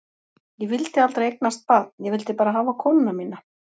Ég vildi aldrei eignast barn, ég vildi bara hafa konuna mína.